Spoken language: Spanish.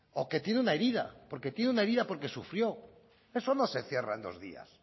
o que tiene una herida porque tiene una herida porque sufrió eso no se cierra en dos días